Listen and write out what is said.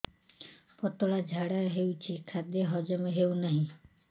ପତଳା ଝାଡା ହେଉଛି ଖାଦ୍ୟ ହଜମ ହେଉନାହିଁ